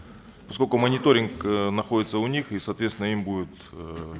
поскольку мониторинг э находится у них и соответственно им будет эээ